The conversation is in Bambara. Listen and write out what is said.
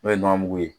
N'o ye nɔnɔ mugu ye